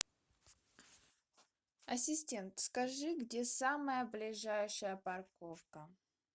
ассистент скажи где самая ближайшая парковка